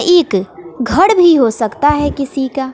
एक घर भी हो सकता है किसी का।